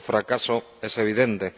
Su fracaso es evidente.